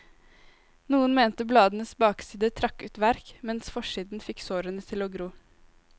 Noen mente bladenes bakside trakk ut verk, mens forsiden fikk sårene til å gro.